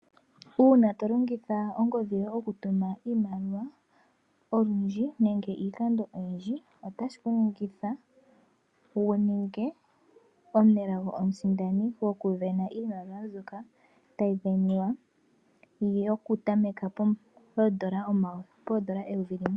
Uuna to longitha ongodhi yoye oku tuma iimaliwa, olundji nenge iikando oyindji, ota shi ku ningitha wu ninge omusindani omunelago goku sindana iimaliwa mbyoka tayi sindanwa, yo kutameka poondola eyovi limwe.